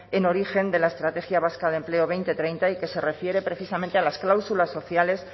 en origen de la estrategia vasca de empleo dos mil treinta y que se refiere precisamente a las cláusulas sociales